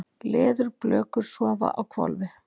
Leðurblökur sofa á hvolfi.